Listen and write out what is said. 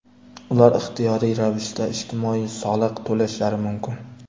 Ular ixtiyoriy ravishda ijtimoiy soliq to‘lashlari mumkin .